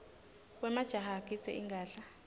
wemajaha agidza ingadla